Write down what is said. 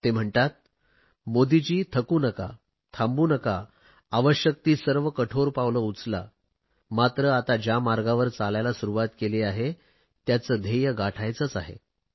ते म्हणतात मोदींजी थकू नकात थांबू नकात आवश्यक ती सर्व कठोर पावले उचला मात्र आता ज्या मार्गावर चालायला सुरुवात केली आहे त्याचे ध्येय गाठायचेच आहे